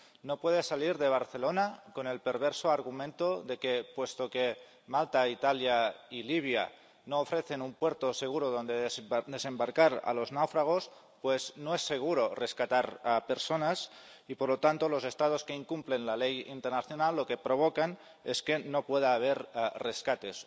No puede salir de Barcelona con el perverso argumento de que, puesto que Malta, Italia y Libia no ofrecen un puerto seguro donde desembarcar a los náufragos, pues, no es seguro rescatar a personas y, por lo tanto, los Estados que incumplen la legislación internacional lo que provocan es que no pueda haber rescates.